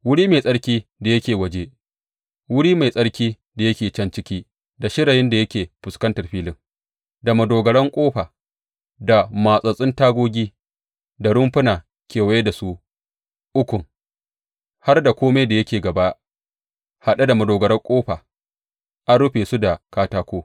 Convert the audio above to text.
Wuri mai tsarki da yake waje, wuri mai tsarki da yake can ciki da shirayin da yake fuskantar filin, da madogaran ƙofa da matsattsun tagogi da rumfuna kewaye da su ukun, har da kome da yake gaba haɗe da madogarar ƙofa, an rufe su da katako.